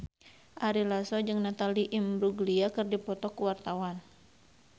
Ari Lasso jeung Natalie Imbruglia keur dipoto ku wartawan